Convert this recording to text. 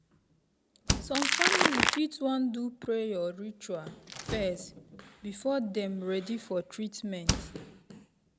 some family fit wan do prayer or ritual first before dem ready for treatment.